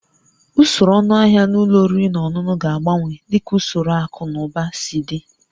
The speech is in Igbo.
Usoro ọnụahịa na ụlọ oriri na ọṅụṅụ ga-agbanwe dịka usoro akụ na ụba si dị